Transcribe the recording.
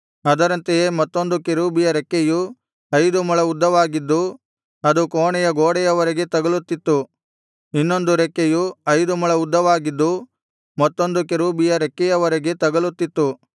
ಅದರಂತೆಯೇ ಮತ್ತೊಂದು ಕೆರೂಬಿಯ ರೆಕ್ಕೆಯು ಐದು ಮೊಳ ಉದ್ದವಾಗಿದ್ದು ಅದು ಕೋಣೆಯ ಗೋಡೆಯವರೆಗೆ ತಗಲುತ್ತಿತ್ತು ಇನ್ನೊಂದು ರೆಕ್ಕೆಯು ಐದು ಮೊಳ ಉದ್ದವಾಗಿದ್ದು ಮತ್ತೊಂದು ಕೆರೂಬಿಯ ರೆಕ್ಕೆಯವರೆಗೆ ತಗಲುತ್ತಿತ್ತು